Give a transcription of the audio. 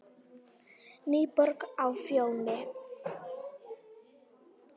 NÝBORG Á FJÓNI